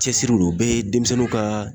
Cɛsiriw don. O bɛɛ ye denmisɛnninw ka